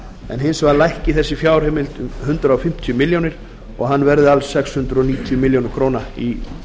en hins vegar lækki fjárheimild þessa liðar um hundrað fimmtíu milljónir króna og hann verði alls sex hundruð níutíu milljónir króna í